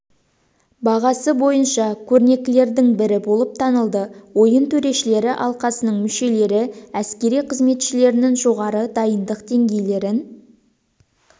бағасы бойынша көрнекілердің бірі болып танылды ойын төрешілері алқасының мүшелері әскери қызметшілерінің жоғары дайындық деңгейлерін